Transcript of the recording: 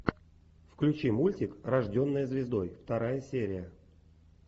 включи мультик рожденная звездой вторая серия